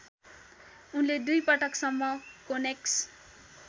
उनले दुईपटकसम्म कोनेक्स